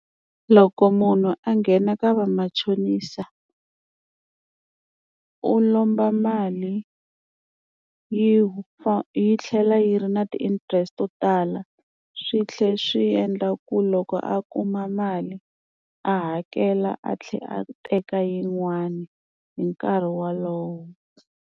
Loko munhu a nghena ka va machonisa u lomba mali yi yi tlhela yi ri na ti-interest leswi to tala swi tlhela swi endla ku loko a kuma mali a hakela a tlhela a teka yin'wani hi nkarhi wolowo.